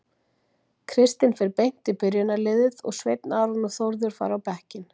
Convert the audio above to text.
Kristinn fer beint í byrjunarliðið og Sveinn Aron og Þórður fara á bekkinn.